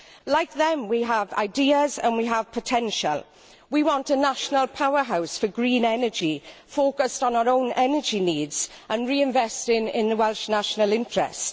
Like them, we have ideas and we have potential, we want a national powerhouse for green energy focused on our own energy needs and reinvested in the Welsh national interest.